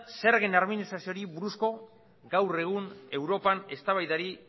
zergen armonizazioari buruzko gaur egun europan eztabaidari